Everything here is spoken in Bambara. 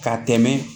Ka tɛmɛ